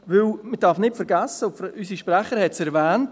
Denn man darf nicht vergessen – unsere Sprecherin hat es erwähnt: